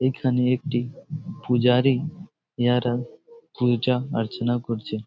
এইখানে একটি পূজারী যারা পূজা আর্চানা করছে ।